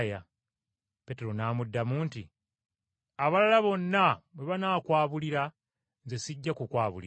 Peetero n’amuddamu nti, “Abalala bonna bwe banaakwabulira, nze sijja kukwabulira.”